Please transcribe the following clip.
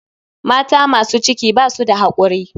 Mata masu ciki basu da hakuri.